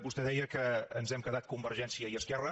vostè deia que ens hem quedat convergència i esquerra